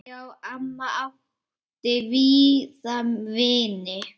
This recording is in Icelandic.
Já, amma átti víða vini.